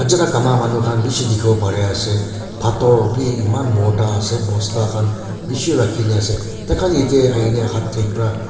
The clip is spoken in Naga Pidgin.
jada kama manu khan bishi dikhibo pare ase pathor bhi eman bhorta ase bosta khan bishi rakhi na ase tai khan yate ahi ke na hatte para--